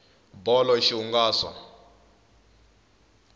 bolo i xihunelaso